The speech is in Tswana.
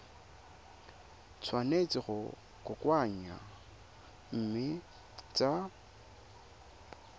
tshwanetse go kokoanngwa mme tsa